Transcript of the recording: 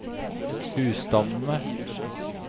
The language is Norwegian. husstandene